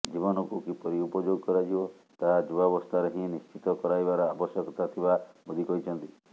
ଜୀବନକୁ କିପରି ଉପଯୋଗ କରାଯିବ ତାହା ଯୁବାବସ୍ଥାରେ ହିଁ ନିଶ୍ଚିତ କରାଇବାର ଆବଶ୍ୟକତା ଥିବା ମୋଦି କହିଛନ୍ତି